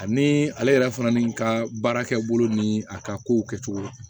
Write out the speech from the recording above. Ani ale yɛrɛ fana ni n ka baarakɛ bolo ni a ka kow kɛcogo la